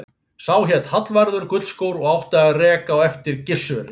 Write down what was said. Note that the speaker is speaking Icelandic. Sá hét Hallvarður gullskór og átti að reka á eftir Gissuri.